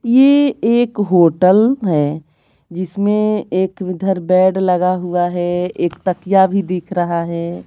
ये एक होटल है जिसमें एक उधर बेड लगा हुआ है एक तकिया भी दिख रहा है।